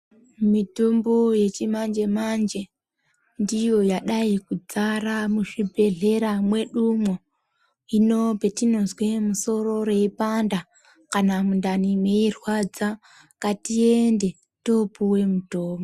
Mitombo yechimanje manje ndiyo yadai kudzara muzvibhehlera mwedu umwo hino petinozwe musoro reipanda kana mundani meirwadza ngatiende topuwe mutombo